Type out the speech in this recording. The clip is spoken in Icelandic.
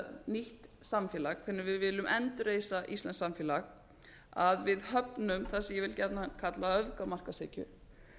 nýtt samfélag hvernig við viljum endurreisa íslenskt samfélag við höfum þar sem ég vil gjarnan kalla öfgamarkaðshyggju